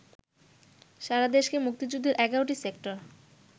সারাদেশকে মুক্তিযুদ্ধের ১১টি সেক্টর